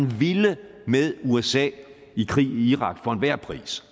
ville med usa i krig i irak for enhver pris